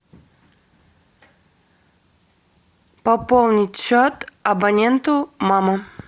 пополнить счет абоненту мама